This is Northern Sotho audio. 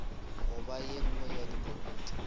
goba ye nngwe ya dikomiti